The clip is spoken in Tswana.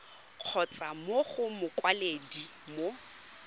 kgotsa mo go mokwaledi mo